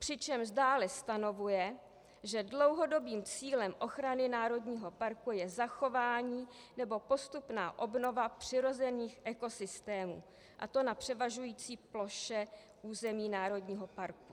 Přičemž dále stanovuje, že dlouhodobým cílem ochrany národního parku je zachování nebo postupná obnova přirozených ekosystémů, a to na převažující ploše území národního parku.